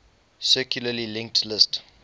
circularly linked list